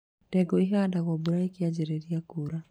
Ndengũ ihandagwo mbura ĩkĩanjĩrĩria kuura.